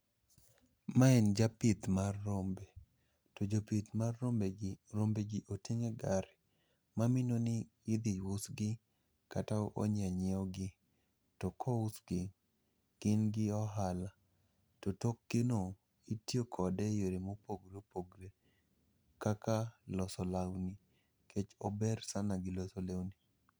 Ma en japith mar rombe, to jopith mar rombe gi rombegi oting' e gari. Mamino ni idhi usgi kata onyie nyiewgi. To kousgi, gin gi ohala. To tokgi no itiyokode e yore mopogre opogre kaka loso law ni, nikech ober sana gi loso lewni.